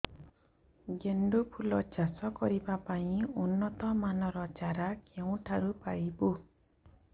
ଗେଣ୍ଡୁ ଫୁଲ ଚାଷ କରିବା ପାଇଁ ଉନ୍ନତ ମାନର ଚାରା କେଉଁଠାରୁ ପାଇବୁ